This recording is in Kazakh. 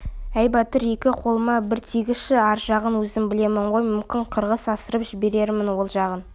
әй батыр-еке қолыма бір тигізші ар жағын өзім білемін ғой мүмкін қырғыз асырып жіберермін ол жағын